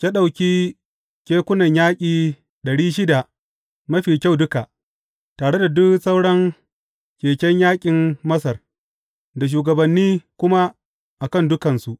Ya ɗauki kekunan yaƙi ɗari shida mafi kyau duka, tare da duk sauran keken yaƙin Masar, da shugabanni kuma a kan dukansu.